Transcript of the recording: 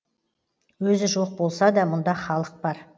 өзі жоқ болса да мұнда халық бар